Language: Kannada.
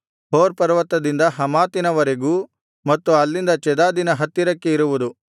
ಹೋರ್ ಪರ್ವತದಿಂದ ಹಮಾತಿನವರೆಗೂ ಮತ್ತು ಅಲ್ಲಿಂದ ಚೆದಾದಿನ ಹತ್ತಿರಕ್ಕೆ ಇರುವುದು